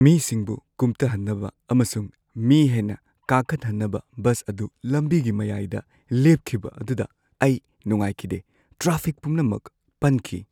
ꯃꯤꯁꯤꯡꯕꯨ ꯀꯨꯝꯊꯍꯟꯅꯕ ꯑꯃꯁꯨꯡ ꯃꯤ ꯍꯦꯟꯅ ꯀꯥꯈꯠꯍꯟꯅꯕ ꯕꯁ ꯑꯗꯨ ꯂꯝꯕꯤꯒꯤ ꯃꯌꯥꯏꯗ ꯂꯦꯞꯈꯤꯕ ꯑꯗꯨꯗ ꯑꯩ ꯅꯨꯡꯉꯥꯏꯈꯤꯗꯦ꯫ ꯇ꯭ꯔꯥꯐꯤꯛ ꯄꯨꯝꯅꯃꯛ ꯄꯟꯈꯤ꯫